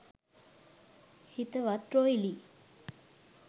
හිතවත් රොයිලි